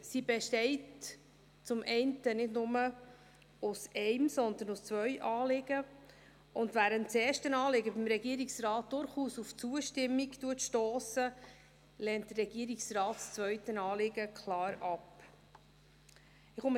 Sie besteht zum einen nicht nur aus einem, sondern aus zwei Anliegen, und während das erste Anliegen beim Regierungsrat durchaus auf Zustimmung stösst, lehnt der Regierungsrat das zweite Anliegen klar ab.